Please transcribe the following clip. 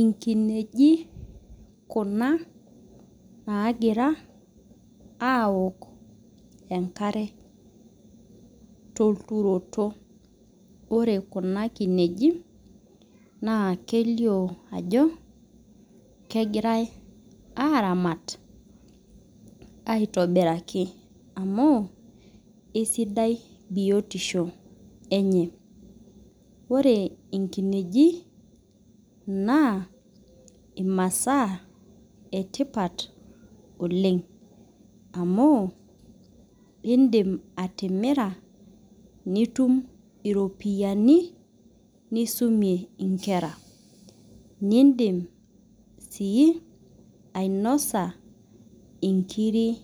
Inkinejik kuna nagira aok enkare tolturoti ore kuna kinejik na kelio ajo kegirai aramat aitobiraki amu isidai biotisho enye ore nkinejik na imasaa etipat oleng amu indim atimira nitum iropiyani nisumie nkera nindim si ainosa inkirik